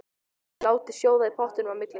Látið sjóða í pottinum á milli.